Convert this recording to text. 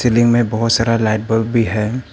Ceiling में बहुत सारा लाइट बल्ब भी है।